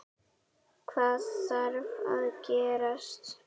Hvað þarf að gerast?